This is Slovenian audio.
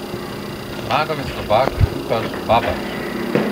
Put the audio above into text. Zmagal je Slovak Lukaš Babač.